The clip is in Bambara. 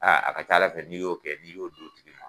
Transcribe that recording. A a ka ca ala fɛ n'i y'o kɛ n'i y'o dɔn tigi ma.